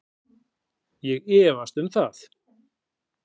Ég efst um það